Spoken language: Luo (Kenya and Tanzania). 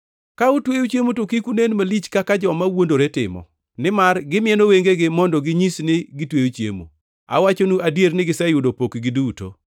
“Ka utweyo chiemo to kik unen malich kaka joma wuondore timo, nimar gimieno wengegi mondo ginyis ni gitweyo chiemo. Awachonu adier ni giseyudo pokgi duto.